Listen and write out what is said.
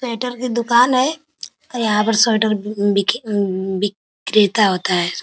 Sweater की दुकान है और यहाँ पर स्वेटर अम्म बीके अम्म्म बिक्रेता होता है ।